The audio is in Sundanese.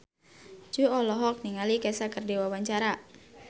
Jui olohok ningali Kesha keur diwawancara